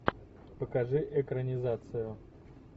покажи экранизацию